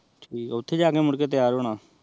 ਠੀਕ ਓਥੇ ਜਾਨ ਮੁਰਕੇ ਤਯਾਰ ਹੋਣਾ